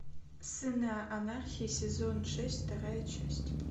сыны анархии сезон шесть вторая часть